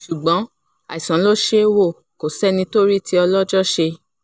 ṣùgbọ́n àìsàn ló ṣeé wò kó sẹ́ni tó rí tí ọlọ́jọ́ ṣe